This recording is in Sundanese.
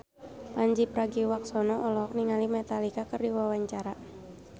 Pandji Pragiwaksono olohok ningali Metallica keur diwawancara